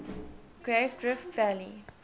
great rift valley